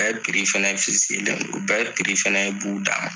U bɛɛ fana len don u bɛɛ fana b'u dan ma